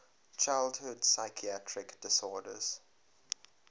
childhood psychiatric disorders